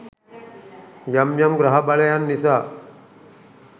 යම් යම් ග්‍රහ බලයන් නිසා